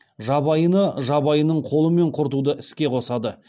жабайыны жабайының қолымен құртуды іске қосады